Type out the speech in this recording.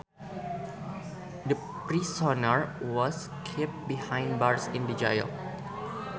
The prisoner was kept behind bars in the jail